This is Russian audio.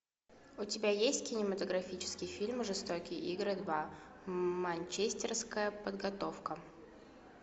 у тебя есть кинематографический фильм жестокие игры два манчестерская подготовка